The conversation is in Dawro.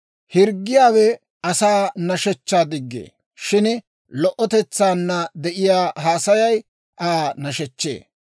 Hirggiyaawe asaa nashshechchaa diggee; shin lo"otetsaanna de'iyaa haasayay Aa nashechchee.